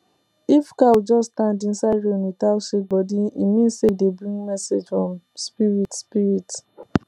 if cow just stand inside rain without shake body e mean say e dey bring message from spirit spirit